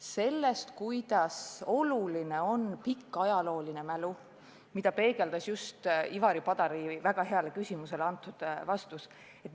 Me näeme, kui oluline on pikk ajalooline mälu, ja seda peegeldas ka Ivari Padari väga heale küsimusele antud vastus.